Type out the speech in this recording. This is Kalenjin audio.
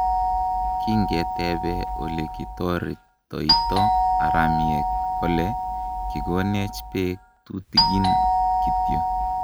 kingetebe ole ki toretoito haramiek kole, kikonecch bek tutigin kityo.